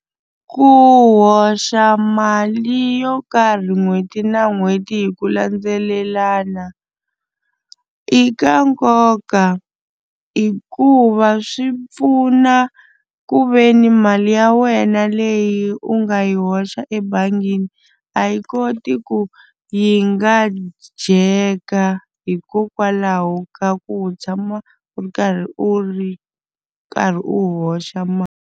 Ku hoxa mali yo karhi n'hweti na n'hweti hi ku landzelelana i ka nkoka hikuva swi pfuna ku ve ni mali ya wena leyi u nga yi hoxa ebangini a yi koti ku yi nga dyeka hikokwalaho ka ku u tshama u ri karhi u ri karhi u hoxa mali.